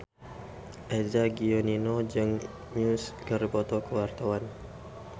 Eza Gionino jeung Muse keur dipoto ku wartawan